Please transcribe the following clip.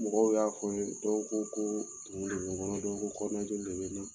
Mɔgɔw y'a fɔ n ye, dɔw ko ko tumu bɛ n kɔnɔ, dɔw ko kɔnɔnajeli de bɛ n na.